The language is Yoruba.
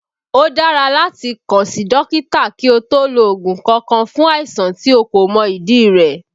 Ó dára láti kàn sí dókítà kí o tó lo ògùn kankan fún àìsàn tí o kò mọ ìdí rẹ̀